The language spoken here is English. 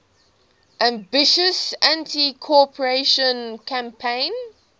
ambitious anticorruption campaign